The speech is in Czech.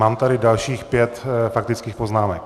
Mám tady dalších pět faktických poznámek.